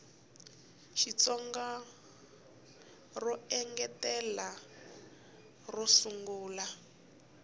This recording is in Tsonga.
xitsonga ro engetela ro sungula